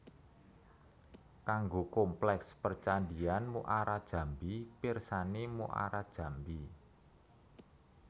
Kanggo kompleks percandhian Muarajambi pirsani Muarajambi